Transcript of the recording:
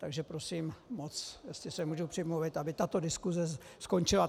Takže prosím moc, jestli se můžu přimluvit, aby tato diskuse skončila.